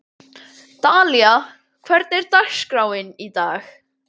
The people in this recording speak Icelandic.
Dalía, hvernig er dagskráin í dag?